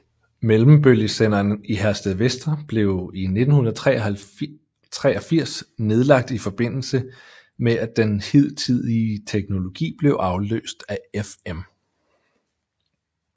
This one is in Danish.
Mellembølgesenderen i Herstedvester blev i 1983 nedlagt i forbindelse med at den hidtidige teknologi blev afløst af FM